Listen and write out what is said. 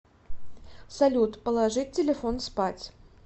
салют положить телефон спать